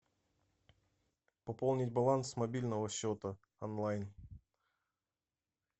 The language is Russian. пополнить баланс мобильного счета онлайн